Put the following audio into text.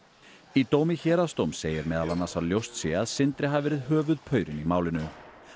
í dómi héraðsdóms segir meðal annars að ljóst sé að Sindri hafi verið höfuðpaurinn í málinu